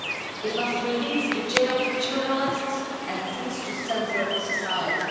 It must release the jailed journalists and cease to censure society.